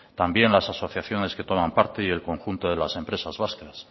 también las asociaciones que toman parte y el conjunto de las empresas vascas